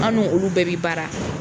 An no olu bɛɛ bi baara.